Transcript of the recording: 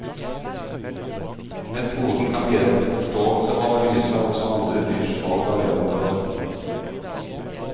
Metoden kan bidra til forståelse og analyse av også andre dyrs valg av leveområde.